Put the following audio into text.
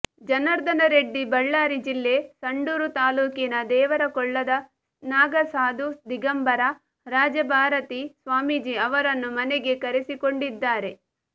ಜನಾರ್ದನ ರೆಡ್ಡಿ ಬಳ್ಳಾರಿ ಜಿಲ್ಲೆ ಸಂಡೂರು ತಾಲೂಕಿನ ದೇವರಕೊಳ್ಳದ ನಾಗಸಾಧು ದಿಗಂಬರ ರಾಜಭಾರತಿ ಸ್ವಾಮೀಜಿ ಅವರನ್ನು ಮನೆಗೆ ಕರೆಸಿಕೊಂಡಿದ್ದಾರೆ